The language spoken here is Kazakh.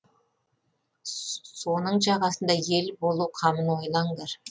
соның жағасында ел болу қамын ойлаңдар